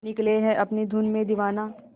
निकले है अपनी धुन में दीवाना